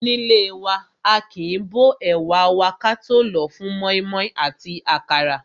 Nílé wa, aàkín bó ẹ̀wà wa ka tó lòó fún mọ́ímọ́í àti àkàrà.